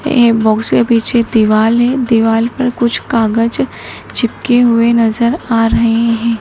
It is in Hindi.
ये बॉक्स के पीछे दिवाल है। दिवाल पर कुछ कागज चिपके हुए नजर आ रहे है।